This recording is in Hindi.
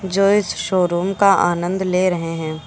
जो इस शोरूम का आनंद ले रहे हैं।